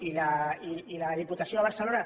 i la diputació de barcelona